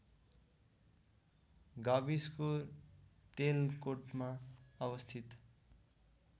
गाविसको तेलकोटमा अवस्थित